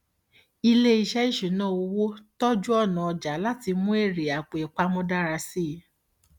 iléiṣẹ ìṣúnná owó tọjú ọnà ọjà láti mú èrè àpòìpamọ dára sí i